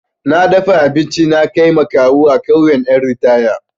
Na dafa abinci na kai ma kawu a ƙauyan ƴan ritaya.